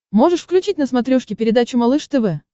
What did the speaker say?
можешь включить на смотрешке передачу малыш тв